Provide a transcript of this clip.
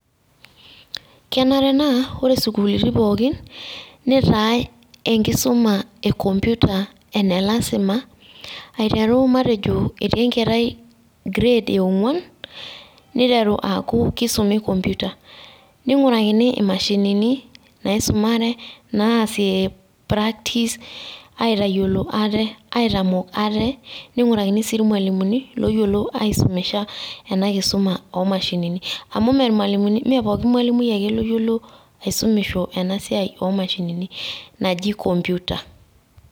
Kenare naa ore sukuulini pookin, nitae enkisuma e computer ene lasima, aiteru matejo etii enkerai grade e ong'uan niteru aaku kisumi computer. Ning'urakini imashinini naisumare naasie practice aitayiolo ate aitamok ate. Ning'urakini si ilmalimuni loyiolo aisumisha ena kisuma o mashinini. Amu me pooki malimui ake oyiolo aisumisho ena siai o mashinini naji computer